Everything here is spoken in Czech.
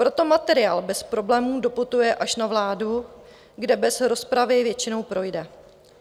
Proto materiál bez problémů doputuje až na vládu, kde bez rozpravy většinou projde.